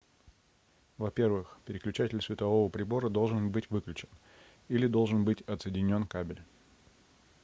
во-первых переключатель светового прибора должен быть выключен или должен быть отсоединен кабель